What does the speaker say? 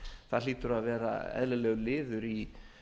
það hlýtur að vera eðlilegur liður í